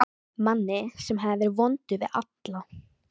Manni sem hafði verið vondur við alla.